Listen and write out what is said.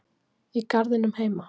Í garðinum heima?